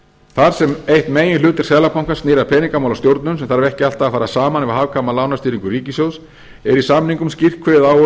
þar sem eitt meginhlutverk seðlabankans snýr að peningamálastjórnun sem þarf ekki alltaf að fara saman við hagkvæma lánastýringu ríkissjóðs er í samningnum skýrt kveðið á